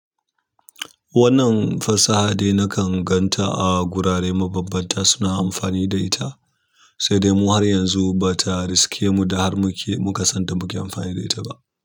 Wannan fasaha dai nakan gan ta a gurare mabambanta suna amfani da ita, sai dai mu har yanzu ba ta riske mu da har muke mukasan ta muke amfani da ita ba.